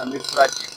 An bɛ fura di